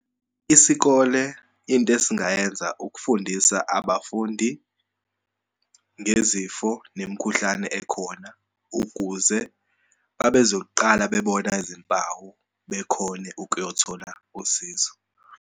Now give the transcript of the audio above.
Isikole, into esingayenza ukufundisa abafundi ngezifo nemikhuhlane ekhona ukuze uma bezoqala bebona izimpawu bekhone ukuyothola usizo.